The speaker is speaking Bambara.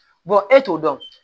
e t'o dɔn